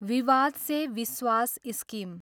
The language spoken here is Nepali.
विवाद से विश्वास स्किम